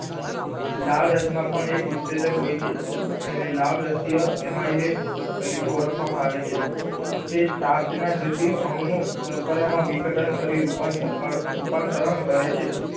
લાળરસ મા પણ એક ઉસેચક હોય છે તેને લાળરસ્ય એમાઈલેસ તરીકે ઓળખાવા માં આવે છે તે સ્ટાર્ચ ના જટિલ અણુ નો શર્કરા માં વિઘટન કરી રૂપાંતર કરે રૂપાંતરણ કરે છે.